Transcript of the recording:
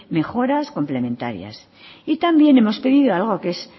mejoras complementarias y también hemos pedido algo que es